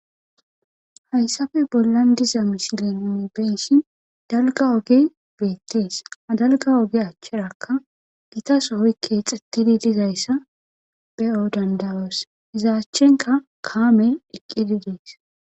Hayssafe bollan diza misilenne benshin dalga oge beettees adalga oge achcharakka gitasohoy keexettidi dizayssa be'o dandawas izaachchenka kaamey eqqidi dees.